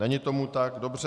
Není tomu tak, dobře.